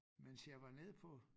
Mens jeg var nede på